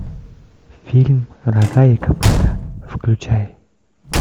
фильм рога и копыта включай